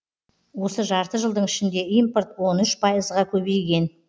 осы жарты жылдың ішінде импорт он үш пайызға көйбейген